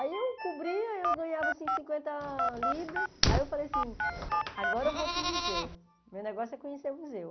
Aí eu cobria, eu ganhava, assim, cinquenta libras, aí eu falei assim, agora eu vou para o museu, meu negócio é conhecer o museu.